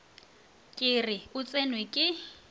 ke re o tsenwe ke